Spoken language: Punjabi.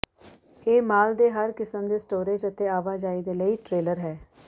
ਇਹ ਮਾਲ ਦੇ ਹਰ ਕਿਸਮ ਦੇ ਸਟੋਰੇਜ਼ ਅਤੇ ਆਵਾਜਾਈ ਦੇ ਲਈ ਟ੍ਰੇਲਰ ਹੈ